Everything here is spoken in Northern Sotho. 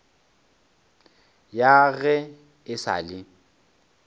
ya ge e sa le